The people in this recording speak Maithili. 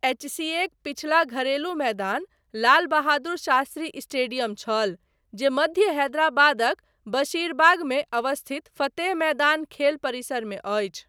एचसीएक पछिला घरेलू मैदान लाल बहादुर शास्त्री स्टेडियम छल जे मध्य हैदराबादक बशीरबागमे अवस्थित फतेह मैदान खेल परिसरमे अछि।